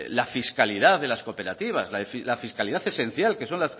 la fiscalidad de las cooperativas la fiscalidad esencial que son